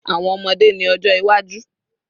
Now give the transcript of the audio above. Awọn ọmọde ni ojo iwaju